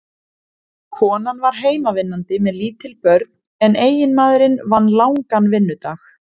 Konan var heimavinnandi með lítil börn en eiginmaðurinn vann langan vinnudag.